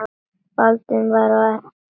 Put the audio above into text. Baldvin var á ellefta ári.